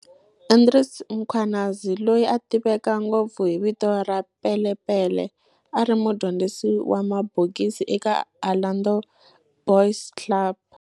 Andries Mkhwanazi, loyi a tiveka ngopfu hi vito ra Pele Pele, a ri mudyondzisi wa mabokisi eka Orlando Boys Club.